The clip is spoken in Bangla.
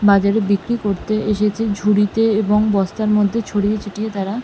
বাজারে বিক্রি করতে এসেছে ঝুড়িতে এবং বস্তার মধ্যে ছড়িয়ে ছিটিয়ে তারা ।